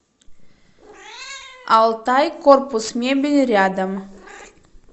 алтайкорпусмебель рядом